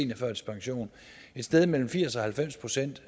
sted mellem firs og halvfems procent